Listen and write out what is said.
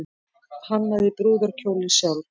Hannaði brúðarkjólinn sjálf